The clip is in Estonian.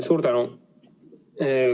Suur tänu!